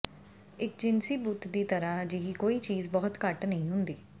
ਇੱਕ ਜਿਨਸੀ ਬੁੱਤ ਦੀ ਤਰ੍ਹਾਂ ਅਜਿਹੀ ਕੋਈ ਚੀਜ਼ ਬਹੁਤ ਘੱਟ ਨਹੀਂ ਹੁੰਦੀ